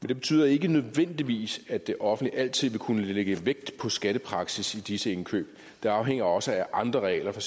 det betyder ikke nødvendigvis at det offentlige altid vil kunne lægge vægt på skattepraksis i disse indkøb det afhænger også af andre regler for